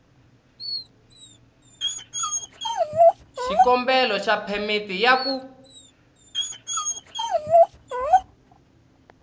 xikombelo xa phemiti ya ku